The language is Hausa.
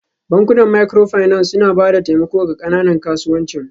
Bankunan Microfinance suna ba da taimako ga ƙananan kasuwancin